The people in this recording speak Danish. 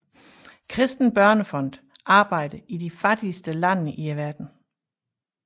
Kristen Børnefond arbejder i de fattigste lande i verden